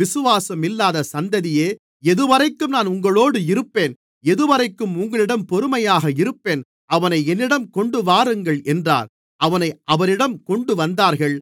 விசுவாசமில்லாத சந்ததியே எதுவரைக்கும் நான் உங்களோடு இருப்பேன் எதுவரைக்கும் உங்களிடம் பொறுமையாக இருப்பேன் அவனை என்னிடம் கொண்டுவாருங்கள் என்றார்